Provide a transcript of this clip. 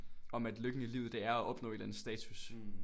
Om at lykken i livet det er at opnå en eller anden status